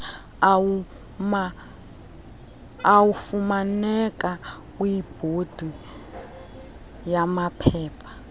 afumaneka kwibhodi yamaphepha